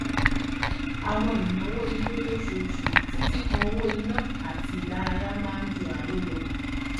àwọn ìnáwó ilé lóṣooṣù títí kan owó iná àti ìdárayá máa ń ju àrò lọ